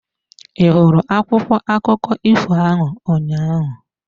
Ị hụrụ akwụkwọ akụkọ ifo ahụ ụnyaahụ?